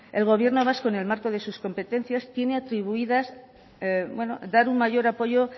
el gobierno vasco en el marco de sus competencias tiene atribuidas dar un mayor apoyo